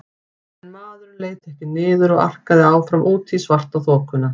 En maðurinn leit ekki niður og arkaði áfram út í svartaþokuna.